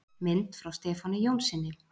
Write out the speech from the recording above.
Mynd frá Stefáni Jónssyni.